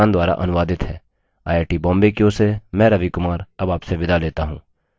यह स्क्रिप्ट देवेन्द्र कैरवान द्वारा अनुवादित है आईआईटीबॉम्बे की ओर से मैं रवि कुमार अब आपसे विदा लेता हूँ